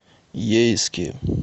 ейске